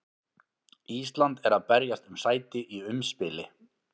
Ísland er að berjast um sæti í umspili.